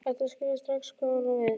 Edda skilur strax hvað hún á við.